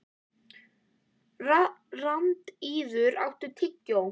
Randíður, áttu tyggjó?